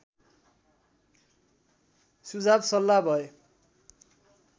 सुझाव सल्लाह भए